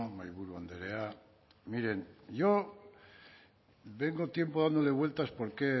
mahaiburu andrea miren yo vengo tiempo dándole vueltas por qué